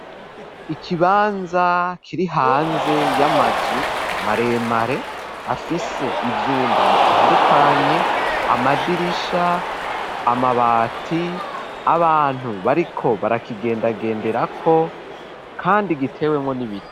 Ikibanza kiri hanze y'amazu maremare afise ivyumba bitandukanye amadirisha amabati abantu bariko barakigenda genderako kandi giteyemwo n'ibiti.